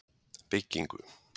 Byggingu